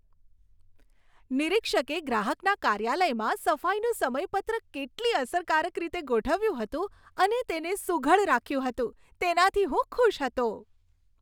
નિરીક્ષકે ગ્રાહકના કાર્યાલયમાં સફાઈનું સમયપત્રક કેટલી અસરકારક રીતે ગોઠવ્યું હતું અને તેને સુઘડ રાખ્યું હતું તેનાથી હું ખુશ હતો.